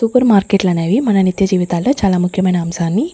Super మార్కెట్లు అనేవి మన నిత్య జీవితాల్లో చాలా ముఖ్యమైన అంశాన్ని.